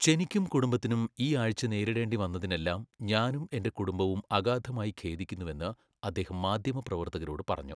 ചെനിക്കും കുടുംബത്തിനും ഈ ആഴ്ച നേരിടേണ്ടി വന്നതിനെല്ലാം ഞാനും എന്റെ കുടുംബവും അഗാധമായി ഖേദിക്കുന്നുവെന്ന് അദ്ദേഹം മാധ്യമപ്രവർത്തകരോട് പറഞ്ഞു.